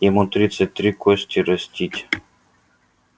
ему тридцать три кости растить